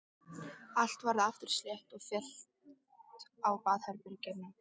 Allt varð aftur slétt og fellt á baðherberginu.